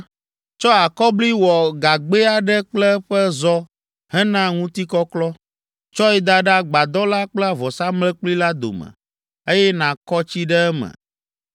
“Tsɔ akɔbli wɔ gagbɛ aɖe kple eƒe zɔ hena ŋutikɔklɔ. Tsɔe da ɖe agbadɔ la kple vɔsamlekpui la dome, eye nàkɔ tsi ɖe eme.